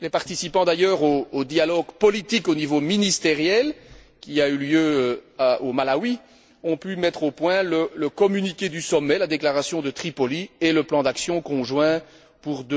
Les participants au dialogue politique au niveau ministériel, qui a eu lieu au Malawi, ont pu mettre au point le communiqué du sommet, la déclaration de Tripoli, et le plan d'action conjoint pour